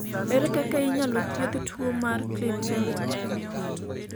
ere kaka inyalo thiedh tuo mar Klinefelter ?